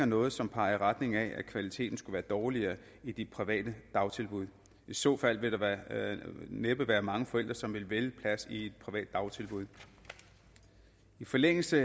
noget som peger i retning af at kvaliteten skulle være dårligere i de private dagtilbud i så fald ville der næppe være mange forældre som ville vælge en plads i et privat dagtilbud i forlængelse